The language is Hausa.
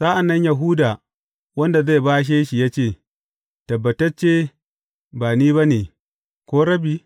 Sa’an nan Yahuda, wanda zai bashe shi ya ce, Tabbatacce ba ni ba ne, ko, Rabbi?